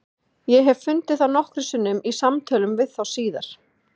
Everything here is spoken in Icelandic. Ég hef fundið það nokkrum sinnum í samtölum við þá síðar.